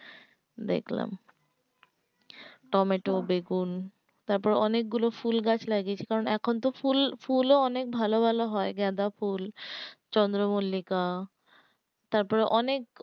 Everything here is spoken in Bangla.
দেখলাম টমেটো বেগুন তারপরে অনেক গুলো ফুলগাছ লাগিয়েছি কারণ এখন তো ফুল ফুলও অনেক ভালো ভালো হয় গাঁদাফুল চন্দ্রমল্লিকা তারপরে অনেক